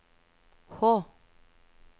H